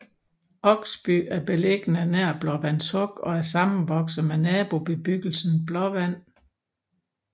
Oksby er beliggende nær Blåvands Huk og er sammenvokset med nabobebyggelsen Blåvand